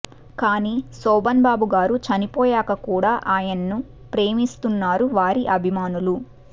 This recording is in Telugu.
కానీ శోభన్బాబు గారు చనిపోయాక కూడా ఆయన్ను ప్రేమిస్తున్నారు వారి అభిమానులు